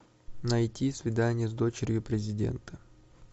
найти свидание с дочерью президента